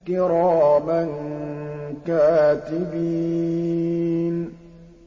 كِرَامًا كَاتِبِينَ